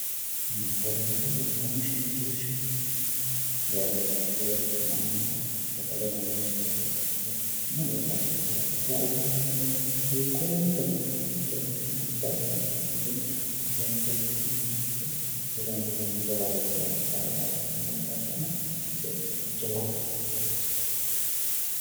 ninyi korreente beegannisimumiriir shaimeemomeete yee babbatti yooricho mannaho saqaleno loosi'rateioyia babbattihooriraba uduunne loosatehu kurreente nookkeamottoreassina fairunsinni dino hurreenttti yihahe kurrentitenni jawareeti loonsah yaate kunne loosono nisjawahoroafidiwoyate